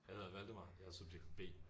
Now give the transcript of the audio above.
Jeg hedder Valdemar jeg er subjekt B